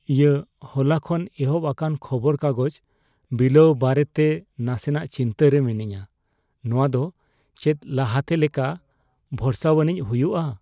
ᱤᱟ ᱦᱚᱞᱟ ᱠᱷᱚᱱ ᱮᱦᱚᱵ ᱟᱠᱟᱱ ᱠᱷᱚᱵᱚᱨ ᱠᱟᱜᱚᱡᱽ ᱵᱤᱞᱟᱹᱣ ᱵᱟᱨᱮᱛᱮ ᱱᱟᱥᱮᱱᱟᱜ ᱪᱤᱱᱛᱟᱹ ᱨᱮ ᱢᱤᱱᱟᱹᱧᱟ ᱾ ᱱᱚᱶᱟ ᱫᱚ ᱪᱮᱫ ᱞᱟᱦᱟᱛᱮ ᱞᱮᱠᱟ ᱵᱷᱚᱨᱥᱟᱣᱟᱱᱤᱡ ᱦᱩᱭᱩᱜᱼᱟ ?